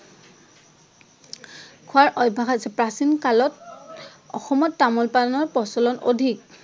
খোৱাৰ অভ্যাস আছে। প্ৰাচীন কালত অসমত তামোল পাণৰ প্ৰচলন অধিক।